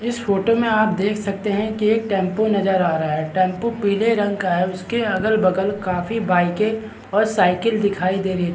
इस फोटो में आप देख सकते है की एक टेंपू नजर आ रहा है टेंपू पीले रंग का है उसके अगल-बगल काफी सारे बाइके और साइकिल दिखाई दे रहे है।